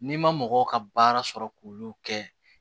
N'i ma mɔgɔw ka baara sɔrɔ k'olu kɛ